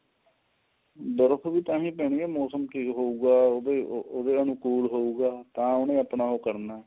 ਬਰਫ਼ ਵੀ ਤਾਹੀਂ ਪੈਂਦੀ ਹੈ ਮੋਸਮ ਕੇ ਹੋਊਗਾ ਉਹਦੇ ਅਨੁਕੂਲ ਹੋਊਗਾ ਤਾਂ ਉਹਨੂੰ ਆਪਣਾ ਉਹ ਕਰਨਾ